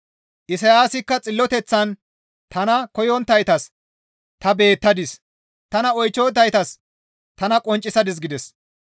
Isayaasikka xalateththan, «Tana koyonttaytas ta beettadis; tana oychchonttaytas tana qonccisadis» gides.